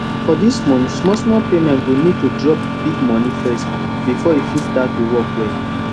for dis month smallsmall payment you go need to drop big money first before e fit start to work well